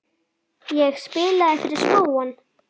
Ég spilaði fyrir spóann.